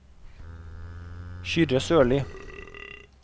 Kyrre Sørlie